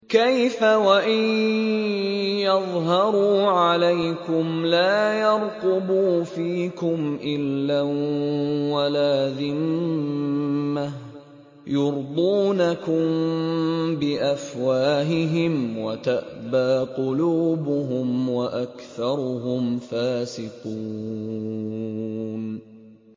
كَيْفَ وَإِن يَظْهَرُوا عَلَيْكُمْ لَا يَرْقُبُوا فِيكُمْ إِلًّا وَلَا ذِمَّةً ۚ يُرْضُونَكُم بِأَفْوَاهِهِمْ وَتَأْبَىٰ قُلُوبُهُمْ وَأَكْثَرُهُمْ فَاسِقُونَ